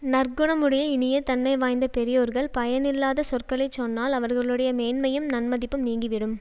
நற்குணமுடைய இனிய தன்மை வாய்ந்த பெரியோர்கள் பயனில்லாத சொற்களை சொன்னால் அவர்களுடைய மேன்மையும் நன்மதிப்பும் நீங்கிவிடும்